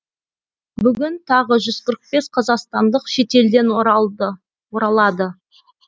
бүгін тағы жүз қырық бес қазақстандық шетелден оралады